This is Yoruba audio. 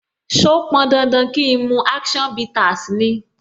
So pọn dandan kín mu action bitters ni?